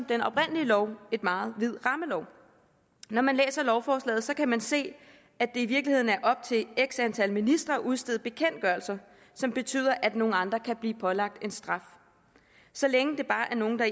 den oprindelige lov en meget vid rammelov når man læser lovforslaget kan man se at det i virkeligheden er op til x antal ministre at udstede bekendtgørelser som betyder at nogle andre kan blive pålagt en straf så længe det bare er nogle der